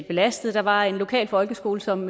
belastet der var en lokal folkeskole som